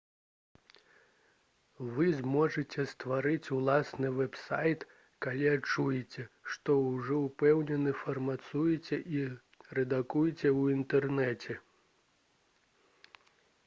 вы зможаце стварыць уласны вэб-сайт калі адчуеце што ўжо ўпэўнена фарматуеце і рэдагуеце ў інтэрнэце